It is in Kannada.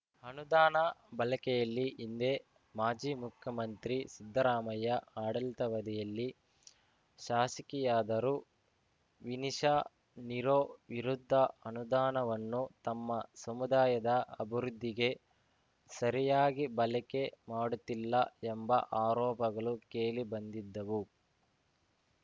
ಅನುದಾನ ಬಳಕೆಯಲ್ಲಿ ಹಿಂದೆ ಮಾಜಿ ಮುಖ್ಯಮಂತ್ರಿ ಸಿದ್ದರಾಮಯ್ಯ ಆಡಳಿತವಧಿಯಲ್ಲಿ ಶಾಸಕಿಯಾದರು ವಿನಿಶಾ ನಿರೋ ವಿರುದ್ಧ ಅನುದಾನವನ್ನು ತಮ್ಮ ಸಮುದಾಯದ ಅಭಿವೃದ್ಧಿಗೆ ಸರಿಯಾಗಿ ಬಳಕೆ ಮಾಡುತ್ತಿಲ್ಲ ಎಂಬ ಆರೋಪಗಳು ಕೇಳಿ ಬಂದಿದ್ದವು